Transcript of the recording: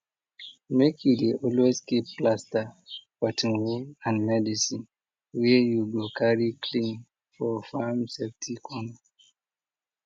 make you dey always keep plaster cotton wool and medicine wey you go carry clean for farm safety corner